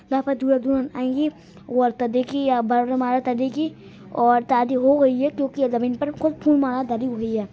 यहां पर दूल्हा दुल्हन आएगी और शादी हो गई है क्योकि जमीन पर कुछ फूल माला धरी हुई है।